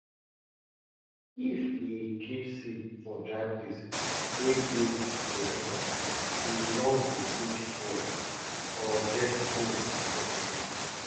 if we keep seed for dry place wey breeze dey enter e nor go quick spoil or get cold for body